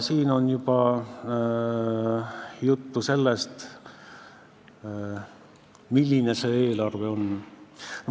Siin on juba juttu olnud sellest, milline see eelarve on.